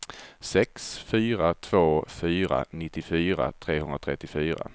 sex fyra två fyra nittiofyra trehundratrettiofyra